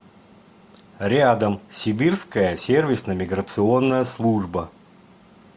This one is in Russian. рядом сибирская сервисно миграционная служба